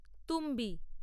তুম্বী